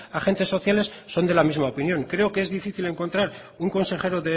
agentes sociales son de la misma opinión creo que es difícil encontrar un consejero